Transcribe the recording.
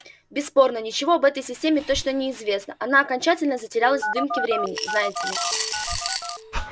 бесспорно ничего об этой системе точно не известно она окончательно затерялась в дымке времени знаете ли